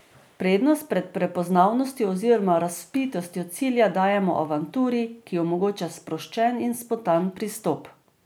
Prednost pred prepoznavnostjo oziroma razvpitostjo cilja dajemo avanturi, ki omogoča sproščen in spontan pristop.